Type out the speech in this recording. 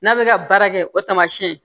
N'a bɛ ka baara kɛ o tamasiyɛn